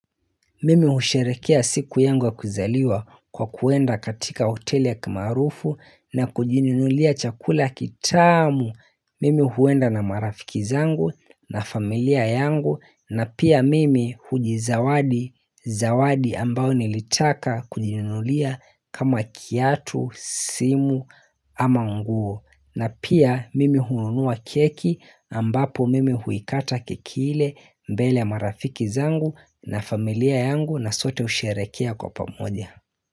Mimi husherehekea siku yangu ya kuzaliwa kwa kuenda katika hoteli ya kimaarufu na kujininulia chakula kitamu. Mimi huenda na marafiki zangu na familia yangu na pia mimi hujizawadi, zawadi ambao nilitaka kujininulia kama kiatu, simu ama nguo. Na pia mimi hununua keki ambapo mimi huikata keki ile mbele ya marafiki zangu na familia yangu na sote husherehekea kwa pamoja.